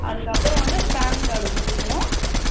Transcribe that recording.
அதுக்கு அப்புறம் வந்து PAN card குடுக்கணும்.